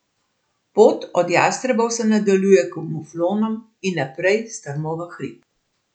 Pot od jastrebov se nadaljuje k muflonom in naprej strmo v hrib.